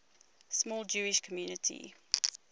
small jewish community